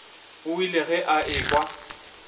o ile ge a ekwa